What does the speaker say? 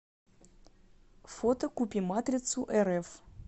фото купиматрицурф